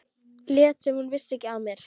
Lét sem hún vissi ekki af mér.